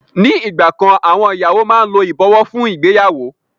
Ni ìgbà kan àwọn ìyàwó máa ń lo ìbọ̀wọ́ fún ìgbéyàwó.